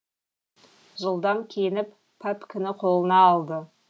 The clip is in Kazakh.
жылдам киініп пәпкіні қолына алды